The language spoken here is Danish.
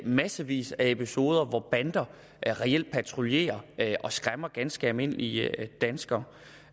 massevis af episoder hvor bander reelt patruljerer og skræmmer ganske almindelige danskere